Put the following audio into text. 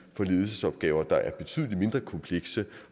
for ledelsesopgaver der er betydelig mindre komplekse